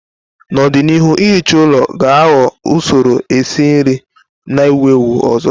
N'ọdịnihu, ihicha ụlọ ga-aghọ usoro esi nri na-ewu ewu ọzọ.